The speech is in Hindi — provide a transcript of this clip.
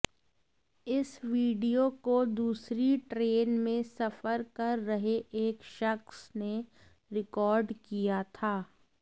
इस वीडियो को दूसरी ट्रेन में सफर कर रहे एक शख्स ने रिकॉर्ड किया था